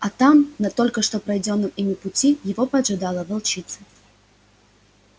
а там на только что пройденном ими пути его поджидала волчица